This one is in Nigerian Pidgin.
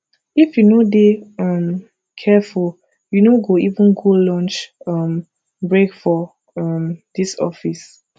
if you no dey um careful you no go even go lunch um break for um dis office